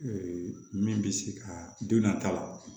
Ee min bɛ se ka don nata la